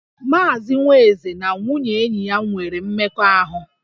Maazị Nwaeze na nwunye enyi ya nwere mmekọahụ